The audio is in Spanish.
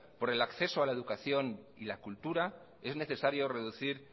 por el acceso a la educación y la cultura es necesario reducir